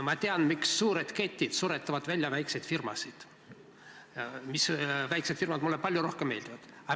Ma tean, miks suured ketid suretavad välja väikseid firmasid, mis mulle palju rohkem meeldivad.